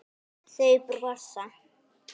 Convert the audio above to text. Þau brosa.